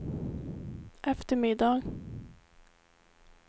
eftermiddag